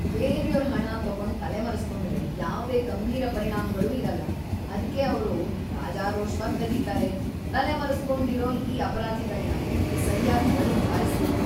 ಬೇರ್ಯೋರ್ ಹಣ ತಗೊಂಡ್‌ ತಲೆಮರೆಸ್ಕೊಂಡ್ರೆ ಯಾವ್ದೇ ಗಂಭೀರ ಪರಿಣಾಮ್ಗಳೂ ಇರಲ್ಲ, ಅದ್ಕೇ ಅವ್ರು ರಾಜಾರೋಷ್ವಾಗ್‌ ಕದೀತಾರೆ. ತಲೆಮರೆಸ್ಕೊಂಡಿರೋ ಈ ಅಪರಾಧಿಗಳ್ನ ಹಿಡ್ದು ಸರ್ಯಾಗ್‌ ಬಡ್ದ್‌ಬಾರಿಸ್ಬೇಕು.